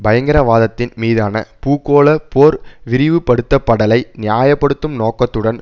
பயங்கரவாதத்தின் மீதான பூகோள போர் விரைவுபடுத்தப்படலை நியாய படுத்தும் நோக்கத்துடன்